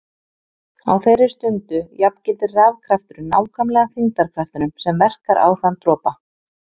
Á þeirri stundu jafngildir rafkrafturinn nákvæmlega þyngdarkraftinum sem verkar á þann dropa.